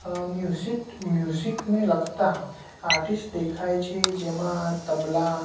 આ music music ને લગતા આર્ટિસ્ટ દેખાય છે જેમા તબલા--